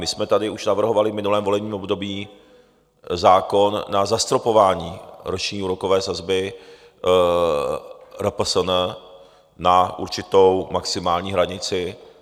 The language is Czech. My jsme tady už navrhovali v minulém volebním období zákon na zastropování roční úrokové sazby RPSN na určitou maximální hranici.